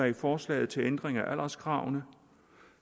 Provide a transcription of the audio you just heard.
i forslaget til ændring af alderskravene